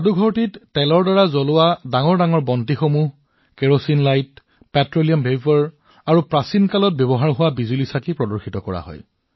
সংগ্ৰহালয়ত তেলেৰে চলা ডাঙৰ ডাঙৰ চাকি কেৰাচিন লাইট পেট্ৰলিয়াম বাষ্প আৰু পুৰণি সময়ৰ বৈদ্যুতিক লেম্পো প্ৰদৰ্শন কৰা হৈছে